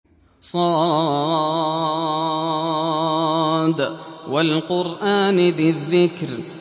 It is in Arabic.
ص ۚ وَالْقُرْآنِ ذِي الذِّكْرِ